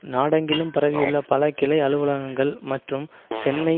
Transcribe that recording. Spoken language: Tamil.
நாடெங்கிலும் பரவியுள்ள பல கிளை அலுவலகங்கள் மற்றும் சென்னை